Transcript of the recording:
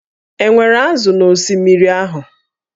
E nwere ázụ̀ na osimiri ahụ?